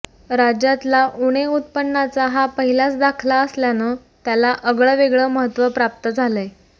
राज्यातला उणे उत्पन्नाचा हा पहिलाच दाखला असल्यानं त्याला अगळंवेगळं महत्त्व प्राप्त झालंय